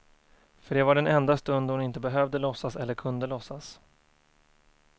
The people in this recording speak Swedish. För det var den enda stund då hon inte behövde låtsas, eller kunde låtsas.